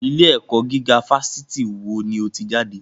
Ilé ẹ̀kọ́ gíga fásitì wo ni o ti jáde?